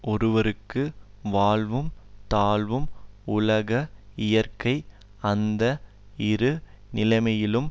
ஒருவர்க்கு வாழ்வும் தாழ்வும் உலக இயற்கை அந்த இரு நிலைமையிலும்